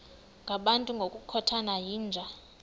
ngabantu ngokukhothana yinja